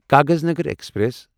Kaghaznagar express